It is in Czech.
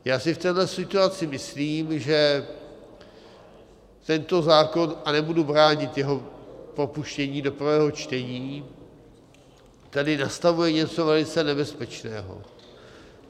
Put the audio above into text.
Já si v téhle situaci myslím, že tento zákon, a nebudu bránit jeho propuštění do prvého čtení, tady nastavuje něco velice nebezpečného.